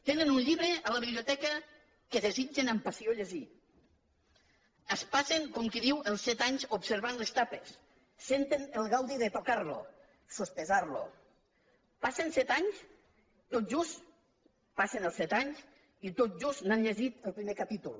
tenen un llibre a la biblioteca que desitgen amb passió llegir es passen com qui diu els set anys observant les tapes senten el gaudi de tocar lo sospesar lo passen set anys tot just passen els set anys i tot just n’han llegit el primer capítol